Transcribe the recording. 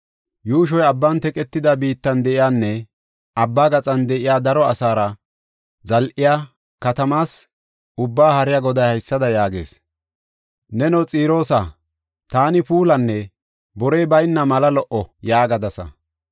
Yuushoy abban teqetida biittan de7iyanne abba gaxan de7iya daro asaara zal7iya, katamaas, Ubbaa Haariya Goday haysada yaagees. “ ‘Neno Xiroosa, taani puulanne borey bayna mala lo77o’ ” yaagadasa.